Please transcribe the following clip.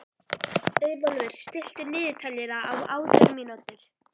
Auðólfur, stilltu niðurteljara á átján mínútur.